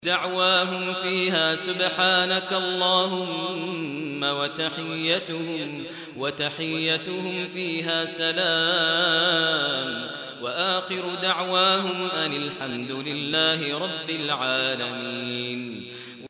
دَعْوَاهُمْ فِيهَا سُبْحَانَكَ اللَّهُمَّ وَتَحِيَّتُهُمْ فِيهَا سَلَامٌ ۚ وَآخِرُ دَعْوَاهُمْ أَنِ الْحَمْدُ لِلَّهِ رَبِّ الْعَالَمِينَ